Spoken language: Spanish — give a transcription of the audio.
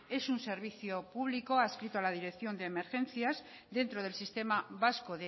es un servicio público adscrito a la dirección de emergencias dentro del sistema vasco